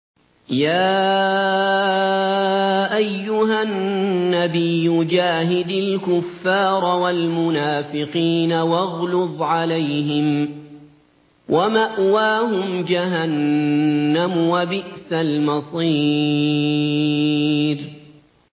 يَا أَيُّهَا النَّبِيُّ جَاهِدِ الْكُفَّارَ وَالْمُنَافِقِينَ وَاغْلُظْ عَلَيْهِمْ ۚ وَمَأْوَاهُمْ جَهَنَّمُ ۖ وَبِئْسَ الْمَصِيرُ